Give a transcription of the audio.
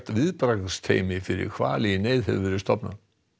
viðbragðsteymi fyrir hvali í neyð hefur verið stofnað